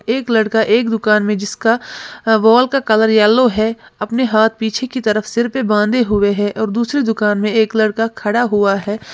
एक लड़का एक दुकान में जिसका वॉल का कलर येलो है अपने हाथ पीछे की तरफ सिर पे बंधे हुए हैं और दूसरी दुकान में एक लड़का खड़ा हुआ है।